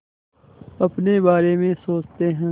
अपने बारे में सोचते हैं